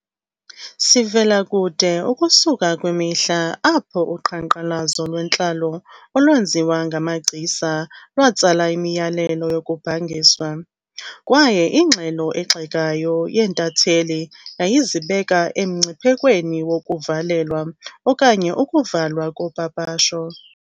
Sivela kude ukusuka kwimihla apho uqhankqalazo lwentlalo olwenziwa ngamagcisa lwatsala imiyalelo yokubhangiswa, kwaye ingxelo egxekayo yeentatheli yayizibeka emngciphekweni wokuvalelwa okanye ukuvalwa kopapasho.